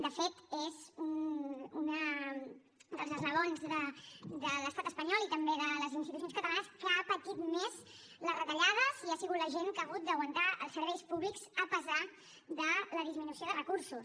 de fet és una de les baules de l’estat espanyol i també de les institucions catalanes que ha patit més les retallades i ha sigut la gent que ha hagut d’aguantar els serveis públics a pesar de la disminució de recursos